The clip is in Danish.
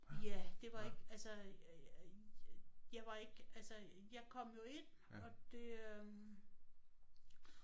Ja det var ikke altså jeg var ikke altså jeg kom jo ind og det øh